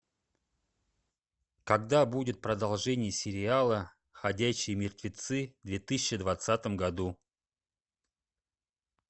когда будет продолжение сериала ходячие мертвецы в две тысячи двадцатом году